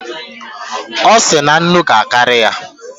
Ọ sị na nnu ga-akarị ya